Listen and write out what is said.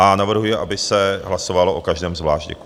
A navrhuji, aby se hlasovalo o každém zvlášť.